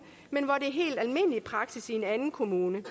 men hvor det helt almindelig praksis i en anden kommune